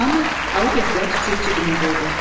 Hamı alıb ehtiyat üçün cibinə qoydu.